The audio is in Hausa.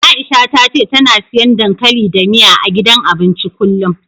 Aisha ta ce tana siyan dankali da miya, a gidan abincin kullum.